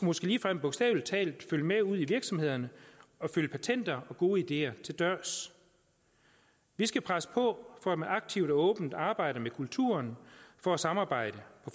måske ligefrem bogstavelig talt følge med ud i virksomhederne og følge patenter og gode ideer til dørs vi skal presse på for at man aktivt og åbent arbejder med kulturen for at samarbejde